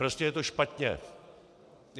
Prostě je to špatně.